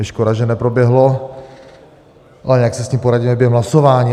Je škoda, že neproběhlo, ale nějak si s tím poradíme během hlasování.